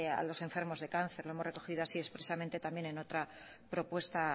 a los enfermos de cáncer lo hemos recogido así expresamente también en otra propuesta